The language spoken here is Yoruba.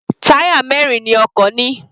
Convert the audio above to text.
Táyà mẹrin ni ọkọ̀ ní.